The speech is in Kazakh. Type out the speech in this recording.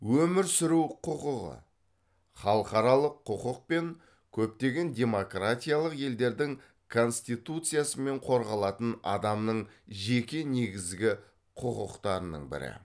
өмір сүру құқығы халықаралық құқық пен көптеген демократиялық елдердің конституциясымен қорғалатын адамның жеке негізгі құқықтарының бірі